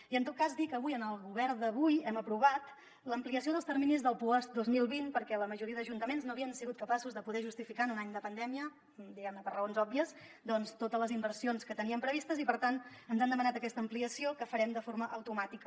i en tot cas dir que avui en el govern d’avui hem aprovat l’ampliació dels terminis del puosc dos mil vint perquè la majoria d’ajuntaments no havien sigut capaços de poder justificar en un any de pandèmia diguem ne per raons òbvies doncs totes les inversions que teníem previstes i per tant ens han demanat aquesta ampliació que farem de forma automàtica